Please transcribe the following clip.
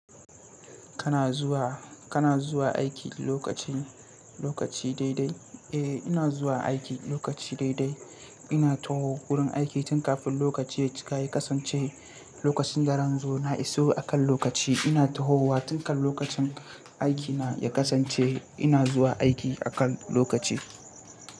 Kana zuwa, kana zuwa aiki lokacin, lokaci daidai? Eh, ina zuwa aiki lokaci daidai. Ina tahowa wurin aiki tun kafin lokaci ya cika ya kasance lokacin daran zo, na iso akan lokaci. Ina tahowa tun kan lokacin aiki na ya kasance ina zuwa aiki akan lokaci.